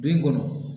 Bin kɔnɔ